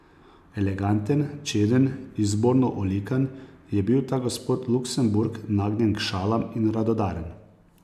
Eleganten, čeden, izborno olikan, je bil ta gospod Luksemburg nagnjen k šalam in radodaren.